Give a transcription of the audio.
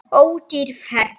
Ódýr ferð.